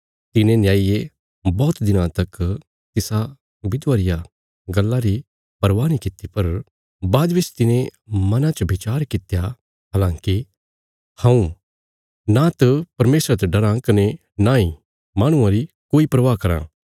तिने न्यायिये बौहत दिनां तक तिसा विधवा रिया गल्ला री परवाह नीं किति पर बाद बिच तिने मना च बिचार कित्या हलांकि हऊँ नांत परमेशरा ते डराँ कने नांई माहणुआं री कोई परवाह कराँ